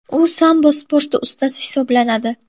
U sambo sporti ustasi hisoblanadi.